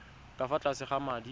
ka fa tlase ga madi